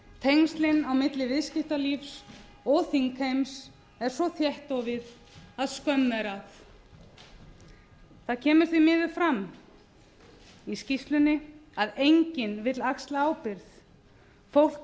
tengslin á milli viðskiptalífs og þings eru svo þéttofin að skömm er að það kemur því miður fram í skýrslunni að enginn vill axla ábyrgð fólk